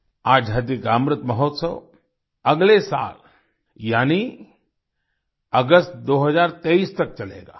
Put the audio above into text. आजादी का अमृत महोत्सव अगले साल यानी अगस्त 2023 तक चलेगा